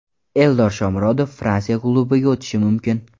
Eldor Shomurodov Fransiya klubiga o‘tishi mumkin.